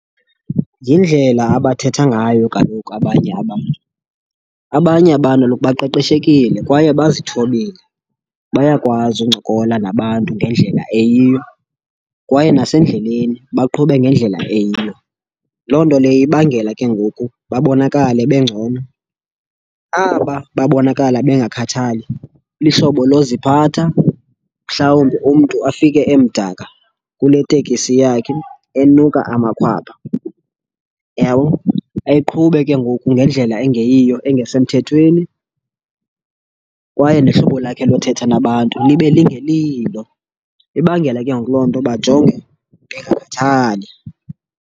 Yindlela abathetha ngayo kaloku abanye abantu. Abanye abantu kaloku baqeqeshekile kwaye bazithobile, bayakwazi ukuncokola nabantu ngendlela eyiyo, kwaye nasendleleni baqhube ngendlela eyiyo. Loo nto leyo ibangela ke ngoku babonakale bengcono. Aba babonakala bengakhathali lihlobo loziphatha, mhlawumbi umntu afike emdaka kule tekisi yakhe, enuka amakhwapha, uyabona? Aqhube ke ngoku ngendlela engeyiyo, engesemthethweni kwaye nehlobo lakhe lothetha nabantu libe lingelilo. Ibangela ke ngoku loo nto bajongeke bengakhathali.